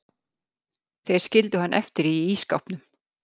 Þeir skildu hann eftir í ísskápnum.